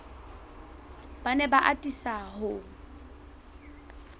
ba ne ba atisa ho